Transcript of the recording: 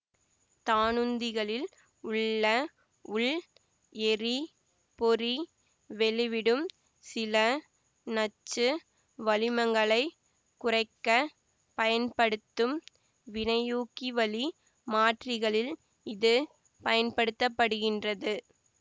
தானுந்திகளில் உள்ள உள் எரி பொறி வெளிவிடும் சில நச்சு வளிமங்களைக் குறைக்க பயன்படுத்தும் வினையூக்கிவழி மாற்றிகளில் இது பயன்படுத்தபடுகின்றது